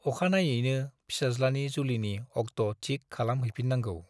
अखानायैनो फिसाज्लानि जुलिनि अक्ट'थिक खालाम हैफिननांगौ।